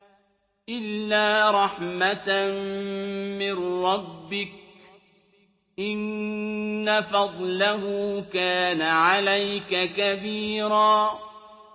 إِلَّا رَحْمَةً مِّن رَّبِّكَ ۚ إِنَّ فَضْلَهُ كَانَ عَلَيْكَ كَبِيرًا